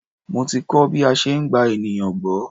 Mo ti kọ́ bí a ṣe ń gba ènìyàn gbọ́.